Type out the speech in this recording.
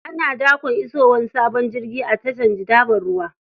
Ana dakon isowar sabon jirgi a tashar jitaven ruwa.